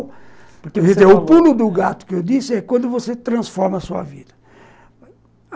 O pulo do gato que eu disse é quando você transforma a sua vida.